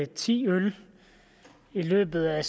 ti øl i løbet af